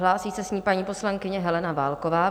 Hlásí se s ní paní poslankyně Helena Válková.